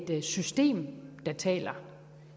det er et system der taler